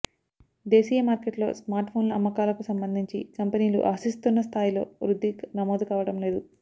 దేశీయ మార్కెట్లో స్మార్ట్ ఫోన్ల అమ్మకాలకు సంబంధించి కంపెనీలు ఆశిస్తున్నా స్థాయిలో వృద్ధి నమోదు కావడం లేదు